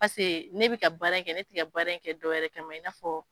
Pase ne bɛ ka baara in kɛ ne tiga ka baara in kɛ dɔwɛrɛ kama ma i na fɔ.